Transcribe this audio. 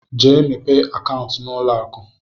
Jee mepee akaụntụ n'ụlọakụ!